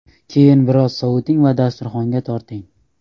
Keyin biroz soviting va dasturxonga torting.